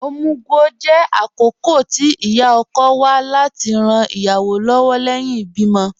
Omugwò jẹ̀ àkókọ̀ tì íyá-ọ̀kọ̀ wà láti ran ìyáwọ́ lọ́wọ̀ lẹ́hìn ìbìmọ̀.